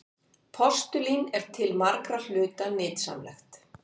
Postulín er til margra hluta nytsamlegt.